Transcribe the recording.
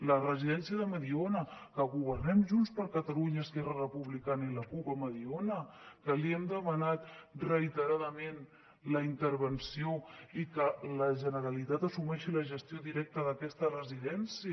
la residència de mediona que governem junts per catalunya esquerra republicana i la cup a mediona que li hem demanat reiteradament la intervenció i que la generalitat assumeixi la gestió directa d’aquesta residència